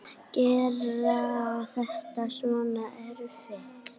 Gera þetta svona erfitt.